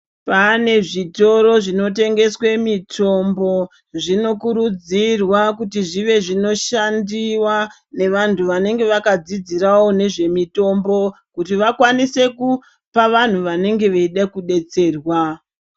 Pane zvitoro zvinotengeswe mitombo. Zvinokurudzirwa kuti zvive zvinoshandiwa nevantu vanenge vakadzidzirawo nezvemutombo kuti vakwanise kupa vantu vanenge veida kudetserwa.